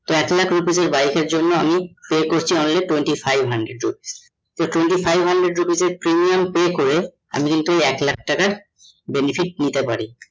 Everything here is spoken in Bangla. এক লক্ষ rupees এর bike এর জন্যে আমি pay করছি only twenty five hundred rupees তো twenty five hundred rupees এর premium pay করে আমি জেহুতু ওই এক লক্ষ টাকা benefit নিতে পারি